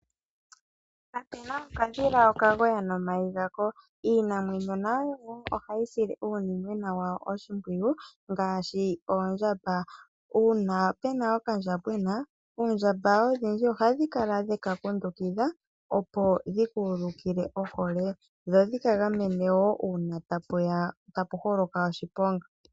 Kapena okadhila okagoya nomayi gako. Iinamwenyo nayo oha yi sile uunimwena wayo oshimpwiyu, ngaashi oondjamba. Uuna pe na okandjambwena, oondjamba odhindji oha dhi kala dheka kundukidha opo dhi ka ulukile ohole, dho dhi ka gamene woo uuna ta pu holoka oshiponga.